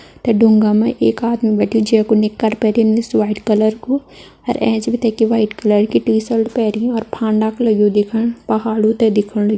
तै ढूँगा में एक आदमी बैठ्यु जै कु निकर पैरि निस वाइट कलर कु। और एंच बि तै की वाइट कलर की टी सर्ट पैरी और फांडा को लग्यु देखण। पहाड़ु ते देखण ल --